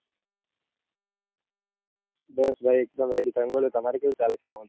બસ ભાઈ એક દમ ready તમે બોલો તમારે કેવું ચાલે છે?